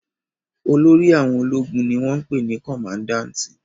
Olórí àwọn ológun ni wọ́n ń pè ní kọmadáǹtì